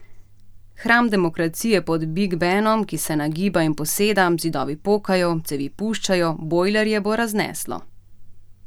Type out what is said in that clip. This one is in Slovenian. Hram demokracije pod Big Benom, ki se nagiba in poseda, zidovi pokajo, cevi puščajo, bojlerje bo razneslo.